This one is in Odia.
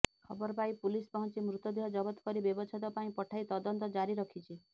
ଖବର ପାଇ ପୁଲିସ୍ ପହଞ୍ଚି ମୃତଦେହ ଜବତ କରି ବ୍ୟବଚ୍ଛେଦ ପାଇଁ ପଠାଇ ତଦନ୍ତ ଜାରି ରଖିଛି